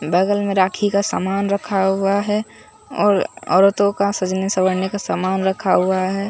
बगल में राखी का सामान रखा हुआ है और औरतों का सजने संवरने का सामान रखा हुआ है।